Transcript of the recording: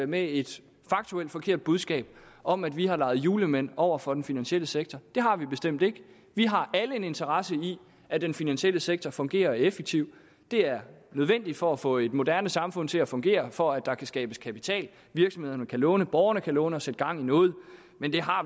med et faktuelt forkert budskab om at vi har leget julemænd over for den finansielle sektor det har vi bestemt ikke vi har alle en interesse i at den finansielle sektor fungerer og er effektiv det er nødvendigt for at få et moderne samfund til at fungere for at der kan skabes kapital virksomhederne kan låne borgerne kan låne og sætte gang i noget men vi har